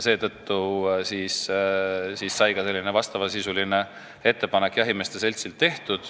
Seetõttu jahimeeste selts sellise ettepaneku ka tegi.